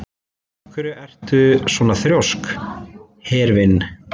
Af hverju ertu svona þrjóskur, Hervin?